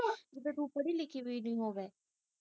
ਤੇ ਤੂੰ ਪੜ੍ਹੀ ਲਿਖੀ ਹੋਈ